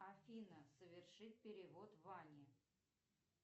афина совершить перевод ване